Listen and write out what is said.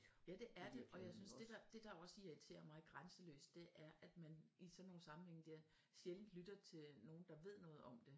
Ja det er det og jeg synes det der det der også irriterer mig grænseløst det er at man i sådan nogle sammenhænge der sjældent lytter til nogen der ved noget om det